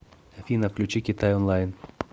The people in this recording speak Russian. афина включи китай онлайн